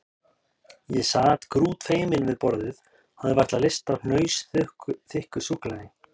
Ég sat grútfeiminn við borðið og hafði varla lyst á hnausþykku súkkulaði.